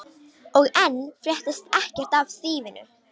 Og enn fréttist ekkert af þýfinu.